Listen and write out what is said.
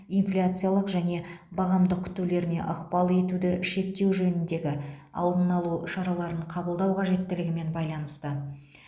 инфляциялық және бағамдық күтулеріне ықпал етуді шектеу жөніндегі алдын алу шараларын қабылдау қажеттілігімен байланысты